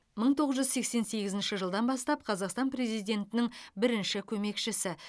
мың тоғыз жүз сексен сегізінші жылдан бастап қазақстан президентінің бірінші көмекшісі